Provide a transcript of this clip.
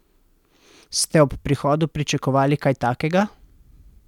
Ste ob prihodu pričakovali kaj takega?